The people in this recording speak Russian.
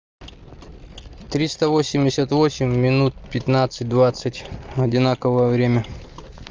триста восемьдесят восемь минут пятнадцать двадцать одинаковое время